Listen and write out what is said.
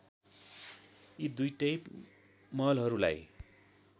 यी दुईटै महलहरूलाई